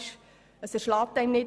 Er erschlägt einen nicht.